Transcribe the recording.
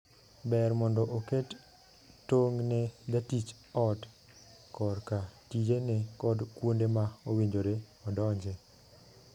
Ber mondo oket tong' ne jatich ot korka tijene kod kuonde ma owinjore odonje.